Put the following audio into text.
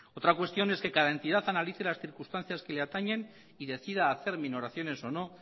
otra cuestión es que cada entidad analice las circunstancias que le atañen y decida hacer minoraciones o no